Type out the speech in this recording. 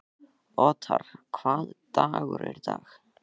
Othar, hvaða dagur er í dag?